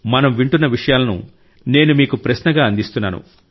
మనం వింటున్న విషయాలను నేను మీకు ప్రశ్నగా అందిస్తున్నాను